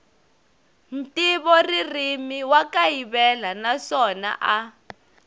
ntivoririmi wa kayivela naswona a